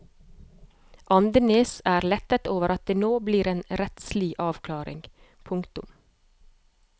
Andenæs er lettet over at det nå blir en rettslig avklaring. punktum